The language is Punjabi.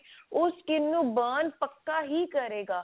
ਉਹ skin ਨੂੰ burn ਪੱਕਾ ਹੀ ਕਰੇਗਾ